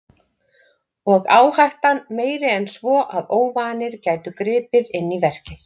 Og áhættan meiri en svo að óvanir gætu gripið inn í verkið.